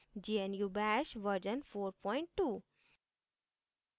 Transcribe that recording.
gnu bash version 42